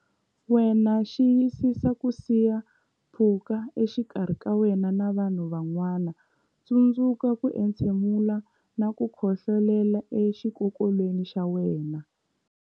Wena Xiyisisa ku siya pfhuka exikarhi ka wena na vanhu van'wana Tsundzuka ku entshemula na ku khohlolela exikokolweni xa wena.